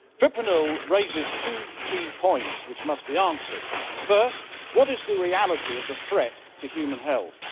Mr President, fipronil raises two key points which must be answered. First, what is the reality of the threat to human health?